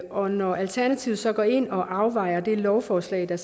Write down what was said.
og når alternativet så går ind og afvejning af det lovforslag der